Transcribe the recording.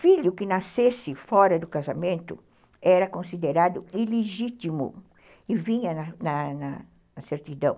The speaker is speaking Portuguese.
Filho que nascesse fora do casamento era considerado ilegítimo e vinha na certidão.